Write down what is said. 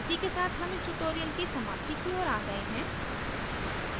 इसी के साथ हम इस tutorial की समाप्ति की ओर आ गये हैं